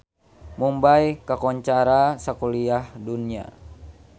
Mumbay kakoncara sakuliah dunya